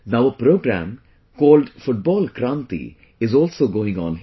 Now a program called Football Kranti is also going on here